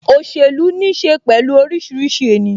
Òṣèlú ní ṣe pẹ̀lú orísìírísìí ènìyàn